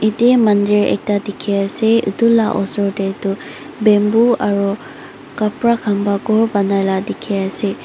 yati mandir eka teki ase etola osor tehtoh bamboo aroo kabra kanba khor bonaila teki ase.